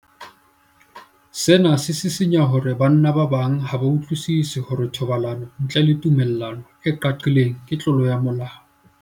Sena se sisinya hore banna ba bang ha ba utlwisisi hore thobalano ntle le tumello e qaqileng ke tlolo ya molao.